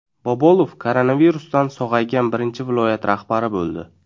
Bobolov koronavirusdan sog‘aygan birinchi viloyat rahbari bo‘ldi.